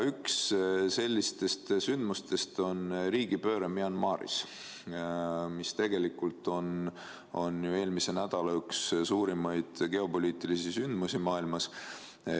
Üks sellistest sündmustest on riigipööre Myanmaris, see oli tegelikult ju üks eelmise nädala suurimaid geopoliitilisi sündmusi maailmas.